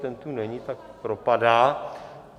Ten tu není, tak propadá.